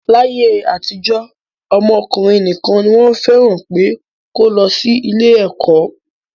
Láyé àtijọ́, ọmọ ọkùnrin nìkan ni wọ́n fẹ́ràn pé kó lọ sí ilé ẹ̀kọ́